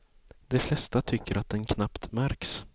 De flesta tycker att den knappt märks.